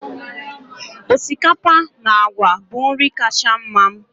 osikapa na agwa bụ nri kacha mma m